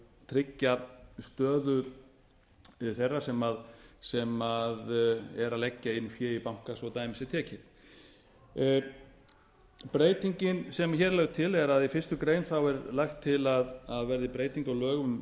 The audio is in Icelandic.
tryggja stöðu þeirra sem eru að leggja inn fé í banka svo að dæmi sé tekið breytingin sem hér er lögð til er að í fyrstu grein er lagt til að það verði breyting á lögum